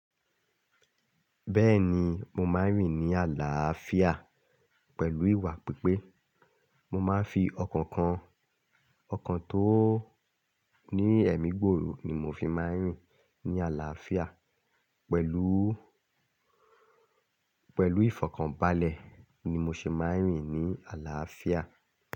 Bẹ́ẹ̀ni mo máa ń rìn ní ààlàfíà pẹ̀lú ìwà pípé. Mo máa ń fi ọkàn kan, ọkàn tó ní ẹ̀mí gbòrò ni mo fi máa ń rìn ní ààlàfíà pẹ̀lú, pẹ̀lú ìfọ̀kànbalẹ̀ ni mo ṣe máa ń rìn ní ààlàfíà.